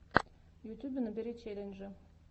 в ютьюбе набери челленджи